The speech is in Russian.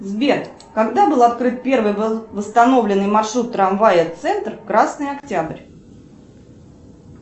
сбер когда был открыл первый восстановленный маршрут трамвая центр красный октябрь